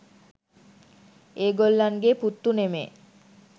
ඒ ගොල්ලන්ගේ පුත්තු නෙමේ.